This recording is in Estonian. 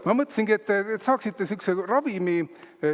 Ma mõtlesingi, et te saaksite sihukese ravimi.